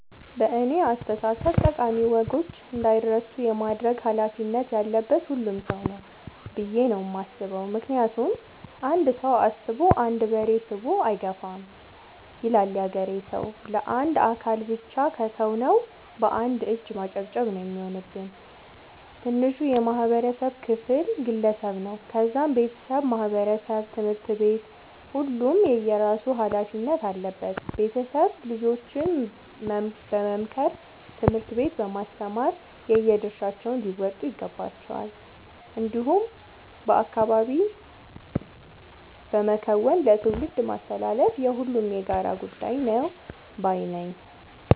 በእኔ አስተሳሰብ ጠቃሚ ወጎች እንዳይረሱ የማድረግ ኃላፊነት ያለበት ሁሉም ሰው ነው። ብዬ ነው የማስበው ምክንያቱም "አንድ ሰው አስቦ አንድ በሬ ስቦ አይገፋም " ይላል ያገሬ ሰው። ለአንድ አካል ብቻ ከተው ነው። በአንድ እጅ ማጨብጨብ ነው የሚሆንብን። ትንሹ የማህበረሰብ ክፍል ግለሰብ ነው ከዛም ቤተሰብ ማህበረሰብ ትምህርት ቤት ሁሉም የየራሱ ኃላፊነት አለበት ቤተሰብ ልጆችን በመምከር ትምህርት ቤት በማስተማር የየድርሻቸውን ሊወጡ ይገባቸዋል። እንዲሁም በአካባቢ በመከወን ለትውልድ ማስተላለፍ የሁሉም የጋራ ጉዳይ ነው ባይነኝ።